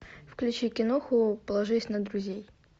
включи киноху положись на друзей